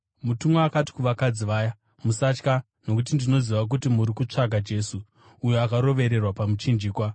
Mutumwa akati kuvakadzi vaya, “Musatya nokuti ndinoziva kuti muri kutsvaka Jesu uyo akarovererwa pamuchinjikwa.